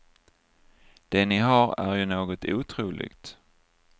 Det ni har är ju något otroligt.